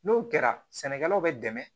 N'o kɛra sɛnɛkɛlaw bɛ dɛmɛ